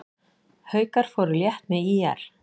Haukar fóru létt með ÍR